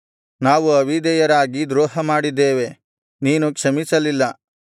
ನಾವು ಅವಿಧೇಯರಾಗಿ ದ್ರೋಹಮಾಡಿದ್ದೇವೆ ನೀನು ಕ್ಷಮಿಸಲಿಲ್ಲ